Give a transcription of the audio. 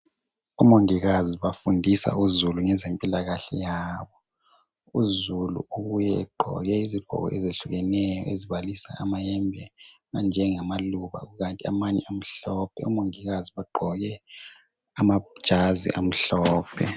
Omongikazi bafundisa uzulu ngezempilakahle yabo. Uzulu ubuye egqoke izigqoko ezehlukeneyo ezibalisa amayembe anjengamaluba kukanti amanye amhlophe. Omongikazi bagqoke amajazi amhlophe.